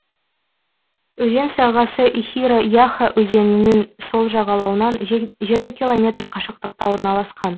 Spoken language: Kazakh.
өзен сағасы ихиро яха өзенінің сол жағалауынан жеті километр қашықтықта орналасқан